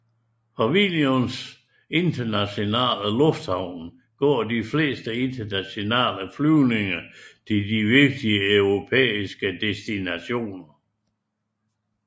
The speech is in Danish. Fra Vilnius internationale lufthavn går de fleste internationale flyvninger til de vigtigste europæiske destinationer